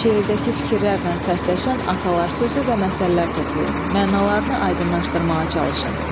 Şeirdəki fikirlərlə səsləşən atalar sözü və məsəllər toplayın, mənalarını aydınlaşdırmağa çalışın.